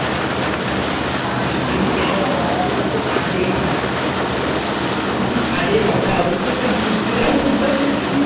আরে বাবা ওদের তুই ঘুরতে যাওয়ার কথা বলছিস